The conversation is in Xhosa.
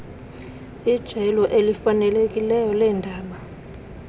ijelo elifanelekileyo leendaba